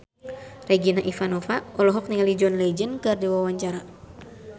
Regina Ivanova olohok ningali John Legend keur diwawancara